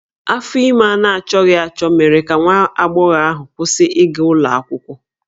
Afọ ime a na-achọghị achọ mere ka nwa agbọghọ ahụ kwụsị ịga ụlọ akwụkwọ